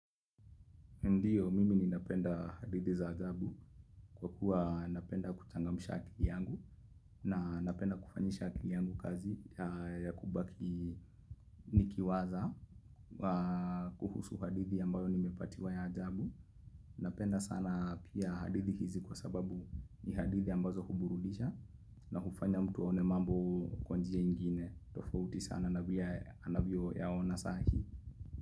Ndiyo, mimi ninapenda hadithi za ajabu kwa kuwa napenda kuchangamsha akili yangu na napenda kufanyisha akili yangu kazi ya kubaki nikiwaza kuhusu hadithi ambayo nimepatiwa ya ajabu. Napenda sana pia hadithi hizi kwa sababu ni hadithi ambazo huburudisha na kufanya mtu aone mambo kwa njia ingine. Tofauti sana na vile anavyoyaona sahi.